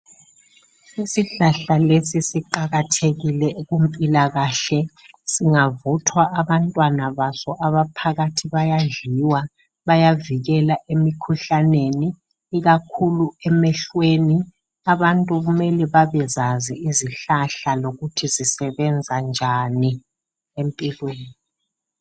Isihlahla lesi siqakathekile kumpilakahle. Singavuthwa abantwana baso abaphakathi bayadliwa. Bayavikela emikhuhlaneni. Ikakhulu emehlweni, abantu kumele babezazi izihlahla lokuthi zisebenza njani empilweni.